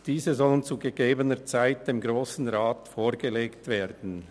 Diese sollen zu gegebener Zeit dem Grossen Rat vorgelegt werden.